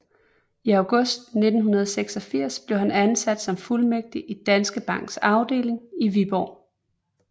I august 1986 blev han ansat som fuldmægtig i Danske Banks afdeling i Viborg